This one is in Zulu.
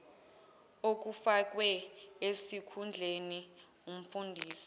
okufakwe esikhundleni umfundisi